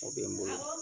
O bɛ n bolo